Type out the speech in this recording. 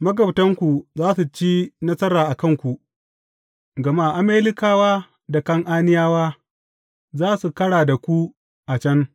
Magabtanku za su ci nasara a kanku, gama Amalekawa da Kan’aniyawa za su kara da ku a can.